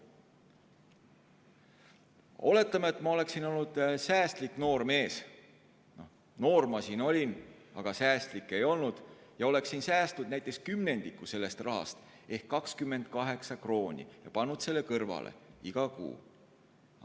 Kui ma oleksin olnud säästlik noormees – noor ma siis olin, aga säästlik ei olnud –, oleksin ma säästnud näiteks kümnendiku sellest rahast ehk 28 krooni ja pannud selle iga kuu kõrvale.